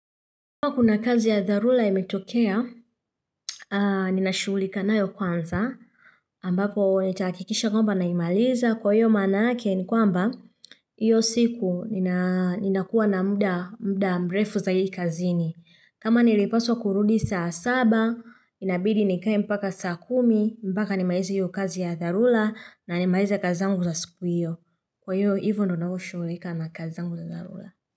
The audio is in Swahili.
Kwa kuwa kuna kazi ya dharura imetokea, ninashughulika nayo kwanza, ambapo nitahakikisha kwamba naimaliza kwa hiyo maanake ni kwamba hiyo siku nina kuwa na muda mrefu zaidi kazini. Kama nilipaswa kurudi saa saba, inabidi nikae mpaka saa kumi, mpaka nimalize hiyo kazi ya dharura na nimaliza kazi zangu za siku hiyo. Kwa hiyo hivyo ndo ninakoshughulika na kazi zangu za dharura.